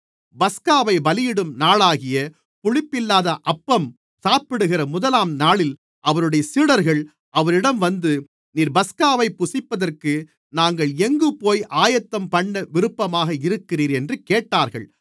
பஸ்காவைப் பலியிடும் நாளாகிய புளிப்பில்லாத அப்பம் சாப்பிடுகிற முதலாம் நாளில் அவருடைய சீடர்கள் அவரிடம் வந்து நீர் பஸ்காவைப் புசிப்பதற்கு நாங்கள் எங்குபோய் ஆயத்தம்பண்ண விருப்பமாக இருக்கிறீர் என்று கேட்டார்கள்